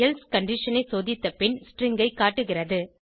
else condition ஐ சோதித்த பின் ஸ்ட்ரிங் ஐ காட்டுகிறது